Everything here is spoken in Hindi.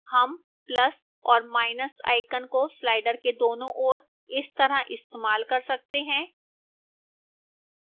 हम plus और minus icons को slider के दोनों ओर इस तरह इस्तेमाल कर सकते हैं